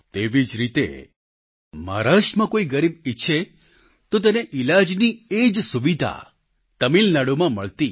તેવી જ રીતે મહારાષ્ટ્રમાં કોઈ ગરીબ ઈચ્છે તો તેને ઈલાજની એ જ સુવિધા તમિલનાડુમાં મળતી